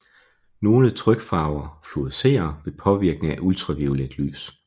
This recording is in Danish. Nogle trykfarver fluorescerer ved påvirkning af ultraviolet lys